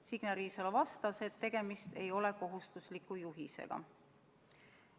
Signe Riisalo vastas, et tegemist ei ole kohustusliku juhisega.